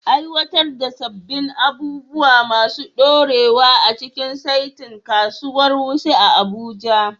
Aiwatar da sabbin abubuwa masu dorewa a cikin saitin Kasuwar Wuse a Abuja.